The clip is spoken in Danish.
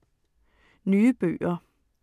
Nye bøger